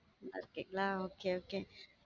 நல்ல இருக்கிங்கலா ஆஹ் okay okay